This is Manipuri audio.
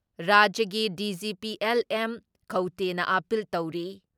ꯔꯥꯖ꯭ꯌꯒꯤ ꯗꯤ.ꯖꯤ.ꯄꯤ.ꯑꯦꯜ.ꯑꯦꯝ. ꯈꯧꯇꯦꯅ ꯑꯥꯄꯤꯜ ꯇꯧꯔꯤ ꯫